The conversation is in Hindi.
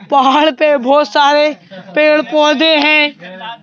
पहाड़ पे बहुत सारे पेड़ पौधे हैं।